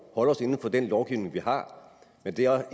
os inden for den lovgivning vi har men det er